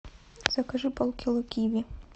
закажи полкило киви